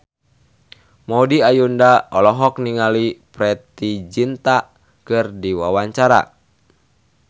Maudy Ayunda olohok ningali Preity Zinta keur diwawancara